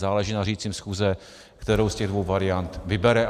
Záleží na řídícím schůze, kterou z těch dvou variant vybere.